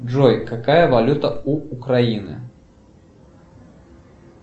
джой какая валюта у украины